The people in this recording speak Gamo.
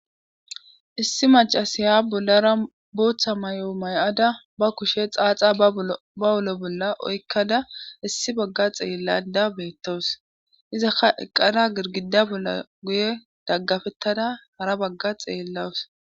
Issi macasiya bollara booththa may7o may7ada ba kushe xaaxa ba wulo bolla oykkada issi bagga xeellada beettowus izakka eqqada girgida bolla guye daggafettada hara bagga xeellawus